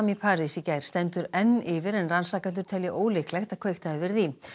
í París í gær stendur enn yfir en rannsakendur telja ólíklegt að kveikt hafi verið í